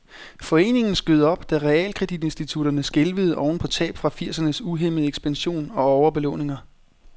Foreningen skød op, da realkreditinstitutterne skælvede oven på tab fra firsernes uhæmmede ekspansion og overbelåninger.